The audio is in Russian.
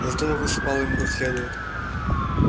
зато я всыпал ему как следует